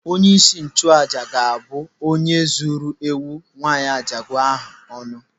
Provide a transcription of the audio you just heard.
Onyeisi nchụàjà ga-abụ onye zuru ewu nwaanyị ajadu ahụ ọnụ.